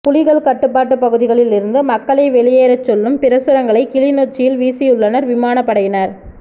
புலிகள் கட்டுப்பாட்டுப் பகுதிகளிலிருந்து மக்களை வெளியேறச் சொல்லும் பிரசுரங்களை கிளிநொச்சியில் வீசியுள்ளனர் விமானப் படையினர்